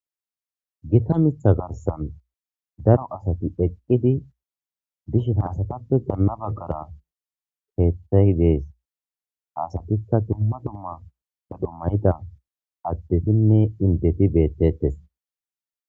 Biita mita garsan daro asati eqqidi danafa qara eetizay dees ha astuppe dumma dumma addetinen imdeti beetetes